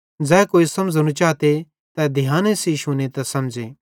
ज़ै कोई समझ़नू चाते तै ध्याने सेइं शुने त समझ़े